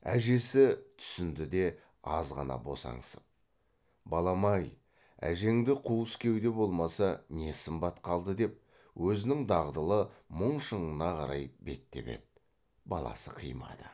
әжесі түсінді де аз ғана босаңсып балам ай әжеңде қуыс кеуде болмаса не сымбат қалды деп өзінің дағдылы мұң шыңына қарай беттеп еді баласы қимады